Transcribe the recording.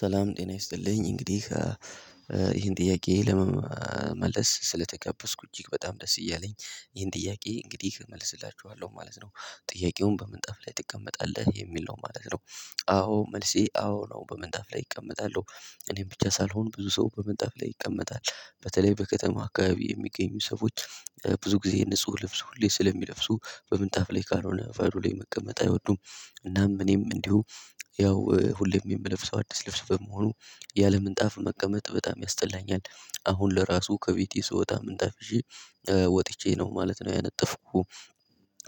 ሰላም ጤና ይስጥልኝ እንግዲህ ይሄን ጥያቄ ለመመለስ ስለተጋበዝኩ እጅግ በጣም ደስ እያለኝ ይሄን ጥያቄ እንግዲህ እመልስላችኋለሁ ማለት ነው ጥያቄውን በምንጣፍ ላይ ትቀመጣለህ የሚል ነው ማለት ነው? አዎ መልሴ አዎ ነው በምንጣፍ ላይ እቀመጣለሁ እኔም ብቻ ሳልሆን ብዙ ሰው በምንጣፍ ላይ ይቀመጣል በተለይ በከተማ አካባቢ የሚገኙ ሰዎች ብዙ ጊዜ ንጹህ ልብስ ሁሌ ስለሚለብሱ በምንጣፍ ላይ ካልሆነ በሩ ላይ መቀመጥ አይወዱም። እናም እኔም እንዲሁ ያው ሁሌም የምለብሰው አዲስ ልብስ በመሆኑ ያለ ምንጣፍ መቀመጥ በጣም ያስጠላኛል አሁን ለራሱ ከቤቴ ስወጣ ምንጣፍ ይዤ ወጥቸ ነው ነው ማለት ነው ያነጠፍኩት።